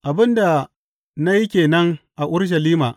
Abin da na yi ke nan a Urushalima.